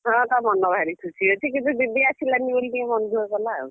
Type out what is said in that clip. ହଁ ତା ମନ ଭାରି ଖୁସି ଅଛି କିନ୍ତୁ ଦିଦି ଆସିଲାନି ବୋଲି ଟିକେ ମନ ଦୁଃଖ କଲା ଆଉ,